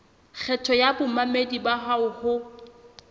kgetho ya bamamedi bao ho